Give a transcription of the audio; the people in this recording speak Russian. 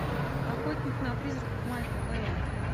охотник на призраков майкла бея